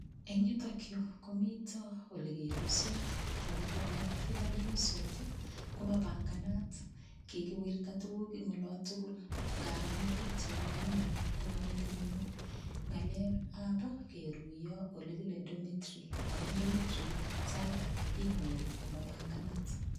Eng' yutokyu komito ole keruisot toku kole yutok kiruisot komapanganat kikiwirta tukuk eng' olo tugul ngaro ane pikchait neu ni konyo metinyu ng'alekab keruiyo ole kile domitory amun domitory sait age inyoru komapanganat